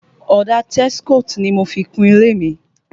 Ọ̀dà Texcoat ni mo fi kú ilé mi